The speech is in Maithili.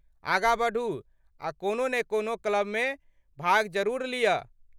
आगाँ बढ़ू आ कोनो ने कोनो क्लबमे भाग जरूर लिअ।